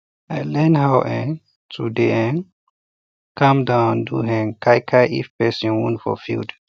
i learn how um to dey um calm down and do um kai kai if person wound for field